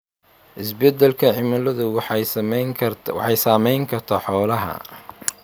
Isbeddelka cimiladu waxay saameyn kartaa xoolaha.